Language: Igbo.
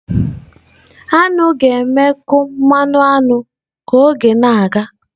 Aṅụ ga-emekwu mmanụ aṅụ ka oge na-aga.